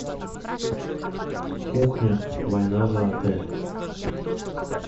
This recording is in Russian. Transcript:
кухня война за отель